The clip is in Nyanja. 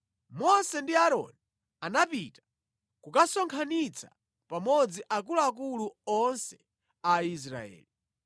Mose ndi Aaroni anapita kukasonkhanitsa pamodzi akuluakulu onse a Aisraeli.